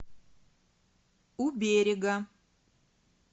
у берега